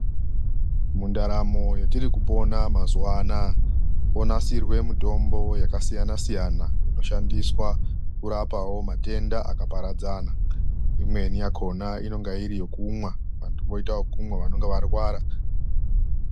Mundaramo yatiri kupona mazuva anaa monasirwa mitombo yakasiyana siyana inoshandiswawo kurapa matenda akaparadzana imweni yakaona inenge iri yekumwa vantu voita yekumwa vanenge varwara.